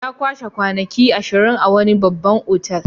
Ya kashe kwanaki ashirin a wani babban otal.